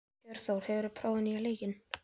Hjörtþór, hefur þú prófað nýja leikinn?